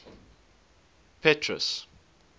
petrus